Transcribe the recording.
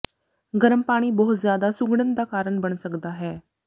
ਗਰਮ ਪਾਣੀ ਬਹੁਤ ਜ਼ਿਆਦਾ ਸੁੰਗੜਨ ਦਾ ਕਾਰਨ ਬਣ ਸਕਦਾ ਹੈ